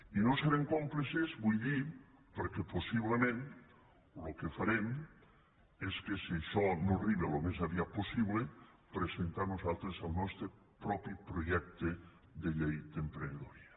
i no serem còmplices vull dir perquè possiblement el que farem és que si això no arriba al més aviat possible presentar nosaltres el nostre propi projecte de llei d’emprenedoria